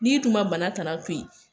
N'i dun ma bana tana to yen